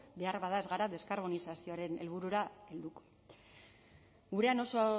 beharbada ez gara deskarbonizazioaren helburura helduko gurean oso